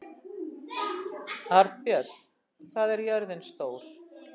Arnbjörn, hvað er jörðin stór?